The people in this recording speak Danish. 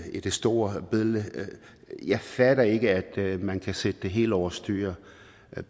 i det store billede jeg fatter ikke at man kan sætte det hele over styr